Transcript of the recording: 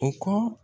U ka